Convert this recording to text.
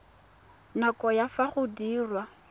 nako ya fa go diriwa